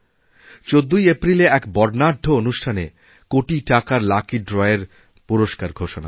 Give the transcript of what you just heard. ১৪ই এপ্রিলে এক বর্ণাঢ্য অনুষ্ঠানে কোটি টাকার লাকি ড্রএর পুরস্কারঘোষণা হবে